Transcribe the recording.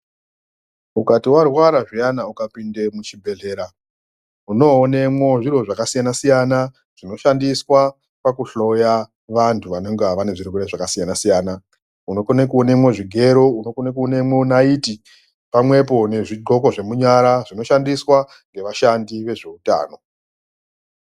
Ukati wa rwara zviyana uka pinde mu chibhedhlera uno onemwo zviro zvaka siyana siyana zvino shandiswa paku hloya vantu vanonga vane zvirwere zvaka siyana siyana unokone ku onemwo zvigero onokone ku onemwo naiti pamwepo nezvi ndxoko zve nyara zvino shandiswa nge vashandi vezve utano.